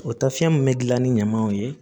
O taafan min bɛ dilan ni ɲamanw ye